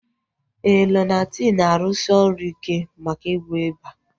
Éè, Lonati na-arụsi ọrụ ike maka ịgwọ ịba